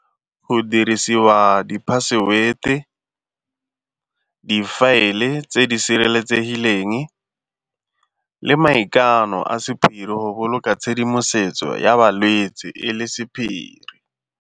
Go dirisiwa di-password-e, difaele tse di sireletsegileng le maikano a sephiri go boloka tshedimosetso ya balwetsi e le sephiri.